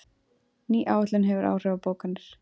Ný áætlun hefur áhrif á bókanir